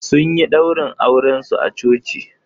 Sun yi ɗaurin aurensu a coci